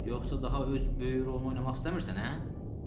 Yoxsa daha öz böyük rolunu oynamaq istəmirsən hə?